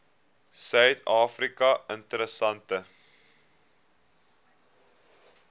suid afrika interessante